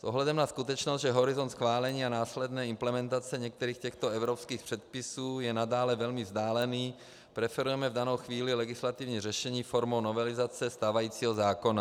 S ohledem na skutečnost, že horizont schválení a následné implementace některých těchto evropských předpisů je nadále velmi vzdálený, preferujeme v danou chvíli legislativní řešení formou novelizace stávajícího zákona.